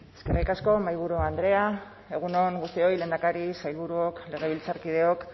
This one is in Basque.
eskerrik asko mahaiburu andrea egun on guztioi lehendakari sailburuok legebiltzarkideok